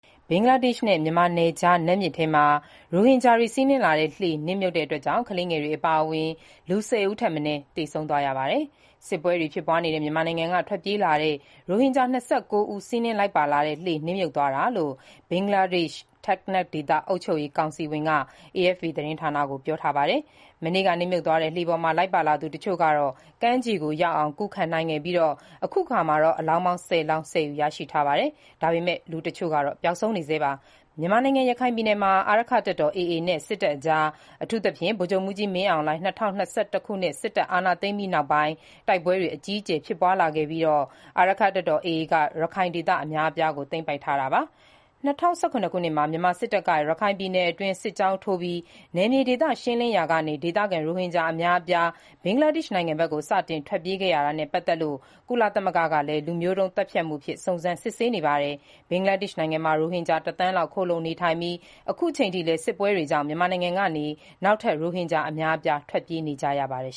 ဘင်္ဂလားဒေ့ရှ်နဲ့ မြန်မာနယ်ခြား နတ်မြစ်ထဲမှာ ရိုဟင်ဂျာတွေ စီးနင်းလာတဲ့ လှေ နစ်မြုပ်တာကြောင့် ကလေးငယ်တွေအပါအဝင် လူ ၁၀ ဦးထက်မနည်း သေဆုံးသွားပါတယ်။ စစ်ပွဲတွေဖြစ်ပွားနေတဲ့ မြန်မာနိုင်ငံက ထွက်ပြေးလာတဲ့ ရိုဟင်ဂျာ ၂၉ ဦး စီးနင်း လိုက်ပါလာတဲ့ လှေ နစ်မြုပ်သွားတာလို့ ဘင်္ဂလားဒေ့ရှ် Teknaf ဒေသ အုပ်ချုပ်ရေးကောင်စီဝင် Rashid Mia က AFP သတင်းဌာနကို ပြောပါတယ်။ မနေ့ အင်္ဂါနေ့မှာနေ့မှာ နစ်မြုပ်သွားတဲ့ လှေပေါ်လိုက်ပါသူတချို့ကတော့ ကမ်းခြေရောက်အောင် ကူးခပ်နိုင်ခဲ့ပြီး အခုအခါ အလောင်း ၁၀ လောင်းကို ဆယ်ယူထားပြီလို့လည်း Mia ကပြောပါတယ်။ ဒါပေမယ့်လည်း လူတချို့ကတော့ ပျောက်ဆုံးနေဆဲပါ။ မြန်မာနိုင်ငံ ရခိုင်ပြည်နယ်မှာ AA အာရက္ခတပ်တော်နဲ့ စစ်တပ်အကြား အထူးသဖြင့် ဗိုလ်ချုပ်မှူးကြီး မင်းအောင်လှိုင် ၂၀၂၁ ခုနှစ် စစ်အာဏာသိမ်းပြီးနောက်ပိုင်း တိုက်ပွဲတွေအကြီးအကျယ်ဖြစ်ပွားလာခဲ့ပြီး အခုအခါ AA အာရက္ခတပ်တော်က ရခိုင်ဒေသ အများအပြားကို သိမ်းပိုက်ထားတာပါ။ ၂၀၁၇ ခုနှစ်မှာ မြန်မာစစ်တပ်က ရခိုင်ပြည်နယ်တွင်း စစ်ကြောင်းထိုးပြီး နယ်မြေဒေသ ရှင်းလင်းလာရာကနေ ဒေသခံ ရိုဟင်ဂျာ အများအပြား ဘင်္ဂလားဒေ့ရှ်နိုင်ငံဘက်ကို စတင်ထွက်ပြေးခဲ့ရတာနဲ့ ပတ်သတ်လို့ ကုလသမဂ္ဂကလည်း လူမျိုးတုန်းသတ်ဖြတ်မှုအဖြစ် စုံစမ်းစစ်ဆေးနေပါတယ်။ အခုအခါ ဘင်္ဂလားဒေ့ရှ်နိုင်ငံမှာ ရိုဟင်ဂျာ ၁ သန်းလောက် ခိုလှုံနေထိုင်နေပြီး စစ်ပွဲတွေကြောင့် အခုချိန်ထိလည်း မြန်မာနိုင်ငံကနေ နောက်ထပ် ရိုဟင်ဂျာ အများအပြား ထွက်ပြေးနေကြရပါတယ်